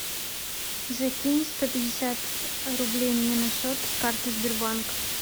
закинь сто пятьдесят рублей мне на счет с карты сбербанк